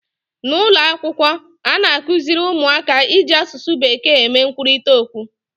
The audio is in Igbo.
N'ụlọ akwụkwọ a na-akụziri ụmụaka iji asụsụ bekee eme nkwurịta okwu